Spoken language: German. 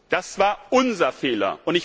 Das war unser Fehler!